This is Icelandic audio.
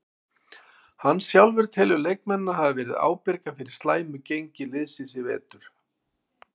Hann sjálfur telur leikmennina hafa verið ábyrga fyrir slæmi gengi liðsins í vetur.